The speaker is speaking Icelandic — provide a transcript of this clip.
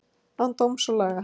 án dóms og laga